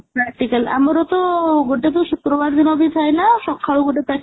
practical ଆମର ତ ଗୋଟେ ଶୁକ୍ରବାର ଦିନବି ଥାଏନା ସଖାଳୁ ଗୋଟେ